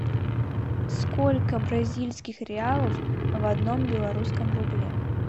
сколько бразильских реалов в одном белорусском рубле